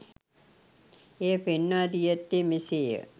එය පෙන්වා දී ඇත්තේ මෙසේ ය.